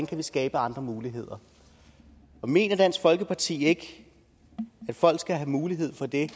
kan skabe andre muligheder mener dansk folkeparti ikke at folk skal have mulighed for det